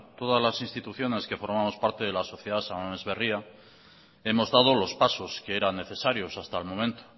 todas las instituciones que formamos parte de la sociedad san mames barria hemos dado los pasos que eran necesarios hasta el momento